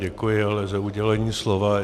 Děkuji ale za udělení slova.